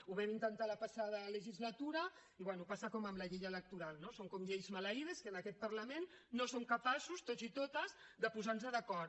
ho vam intentar la passada legislatura i bé passa com amb la llei electoral no són com lleis maleïdes que en aquest parlament no som capaços tots i totes de posar nos d’acord